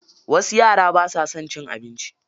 Wasu yara basa son cin abinci.